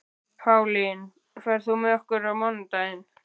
Pálín, ferð þú með okkur á mánudaginn?